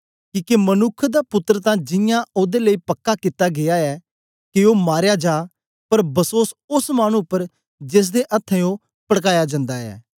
किके मनुक्ख दा पुत्तर तां जियां ओदे लेई पक्का कित्ता गीया ऐ के ओ मारया जा पर बसोस ओस मानु उपर जेसदे अथ्थें ओ पड़काया जन्दा ऐ